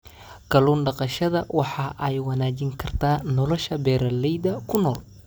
Kallun daqashada waxa ay wanaajin kartaa nolosha beeralayda ku nool.